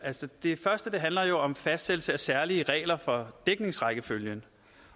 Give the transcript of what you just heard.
det første handler jo om fastsættelse af særlige regler for dækningsrækkefølgen